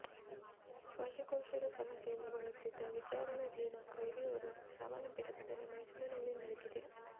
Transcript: ಶ್ವಾಸಕೋಶದ ಸಮಸ್ಯೆಯಿಂದ ಬಳಲುತ್ತಿದ್ದ ವಿಚಾರಣಾಧೀನ ಕೈದಿಯೋರ್ವ ಸಾವನ್ನಪ್ಪಿದ ಘಟನೆ ಮೈಸೂರಿನಲ್ಲಿ ನಡೆದಿದೆ